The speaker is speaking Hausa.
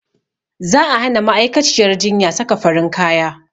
Za a hana ma'aikaciyyar jinya saka farin kaya